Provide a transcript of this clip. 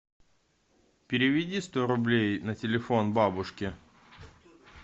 переведи сто рублей на телефон бабушке